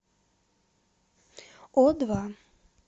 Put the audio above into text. о два